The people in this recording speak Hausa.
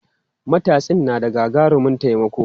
Matatsin na da gagarumin taimako.